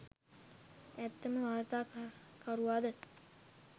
ඇත්තම වාර්තා කරුවාද?